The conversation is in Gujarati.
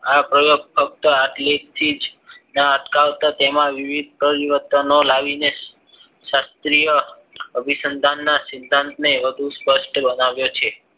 આ પ્રયોગ ફક્ત આટલેથી જ ના અટકાવતા તેમાં વિવિધ પરિવર્તનો લાવીને શાસ્ત્રીય અભિસંદનના સિદ્ધાંતને સ્પષ્ટ બનાવે છે